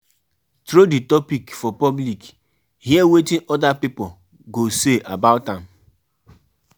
um Persin fit decide to buy um new outfits and do do your hair so that you go look nice for holiday